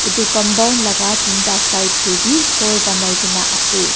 Etu compound laka tinta side tebeh khor panai kena ase.